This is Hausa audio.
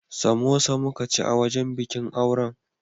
Samosa muka ci a wajen bikin auren.